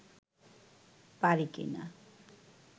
পারি কি না